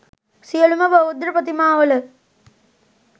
සියලුම බුද්ධප්‍රතිමාවල